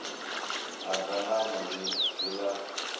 ha dzangano ḽi si ḽa